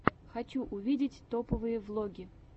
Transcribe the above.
хочу увидеть топовые влоги